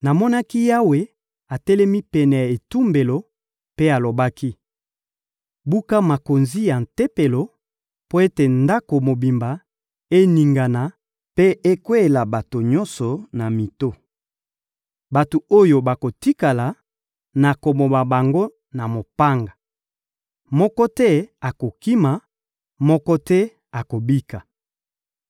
Namonaki Yawe atelemi pene ya etumbelo, mpe alobaki: «Buka makonzi ya Tempelo mpo ete ndako mobimba eningana mpe ekweyela bato nyonso na mito. Bato oyo bakotikala, nakoboma bango na mopanga. Moko te akokima, moko te akobika.